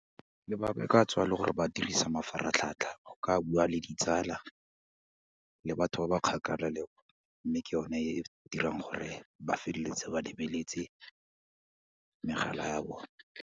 Lebaka e ka tswa e le gore ba dirisa mafaratlhatlha go ka bua le ditsala, le batho ba ba kgakala le mme ke yone e e dirang gore ba feleletse ba lebeletse megala ya bone.